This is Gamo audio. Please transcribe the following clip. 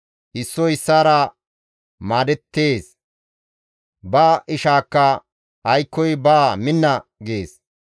Issoy issaara maadettees; ba ishaakka, «Aykkoy baa minna» gees.